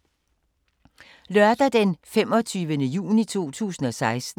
Lørdag d. 25. juni 2016